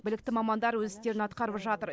білікті мамандар өз істерін атқарып жатыр